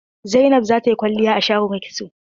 Zainab zata yi kwalliya a shagon kitso.